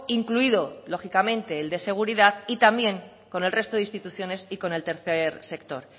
incluido lógicamente el de seguridad y también con el resto de instituciones y con el tercer sector